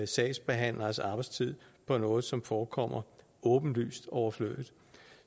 sagsbehandleres arbejdstid på noget som forekommer åbenlyst overflødigt